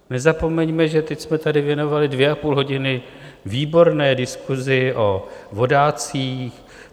Nezapomeňme, že teď jsme tady věnovali dvě a půl hodiny výborné diskusi o vodácích.